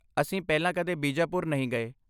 ਅਸੀਂ ਪਹਿਲਾਂ ਕਦੇ ਬੀਜਾਪੁਰ ਨਹੀਂ ਗਏ।